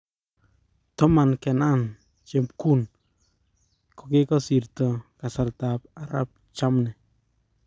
Toman kenan chemgun kekakosirto kasartap arap jammneh